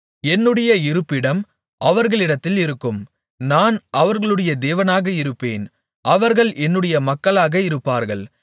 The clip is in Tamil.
என்னுடைய இருப்பிடம் அவர்களிடத்தில் இருக்கும் நான் அவர்களுடைய தேவனாக இருப்பேன் அவர்கள் என்னுடைய மக்களாக இருப்பார்கள்